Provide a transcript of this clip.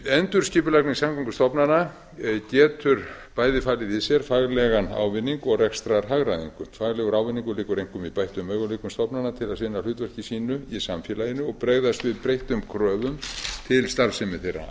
endurskipulagning samgöngustofnana getur bæði falið í sér faglega ávinning og rekstrarhagræðingu faglegur ávinningur liggur einkum í bættum möguleikum stofnana til að sinna hlutverki sínu í samfélaginu og bregðast við breyttum kröfum til starfsemi þeirra